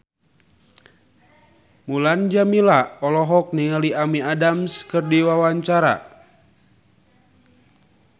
Mulan Jameela olohok ningali Amy Adams keur diwawancara